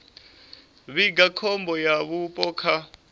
vhiga khombo ya vhupo kha